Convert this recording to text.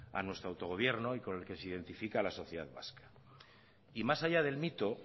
a nuestro autogobierno y con el que se identifica a la sociedad vasca y más allá del mito